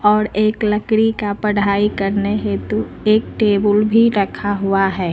और एक लकड़ी का पढ़ाई करने हेतु एक टेबुल भी रखा हुआ है।